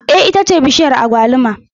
Eh ita ce bishiyar agwaluma